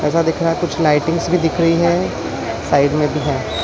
ऐसा दिख रहा कुछ लाइटिंग्स भी दिख रही है साइड में भी है।